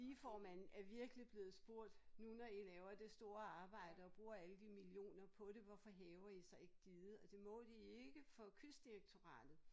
Digeformanden er virkelig blevet spurgt nu når I laver det store arbejde og bruger alle de millioner på det hvorfor hæver I så ikke diget og det må de ikke for Kystdirektoratet